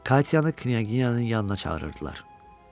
Katyanı knyazın yanına çağırırdılar.